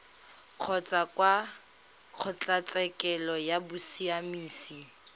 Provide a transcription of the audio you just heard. kgotsa kwa kgotlatshekelo ya bosiamisi